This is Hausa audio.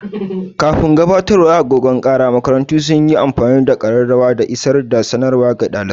Kafin gabatowar agogon kara, makarantu sun yi amfani da ƙararrawa dan isar da sanarwa ga ɗalibai.